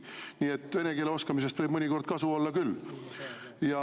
Nii et vene keele oskamisest võib mõnikord kasu olla küll.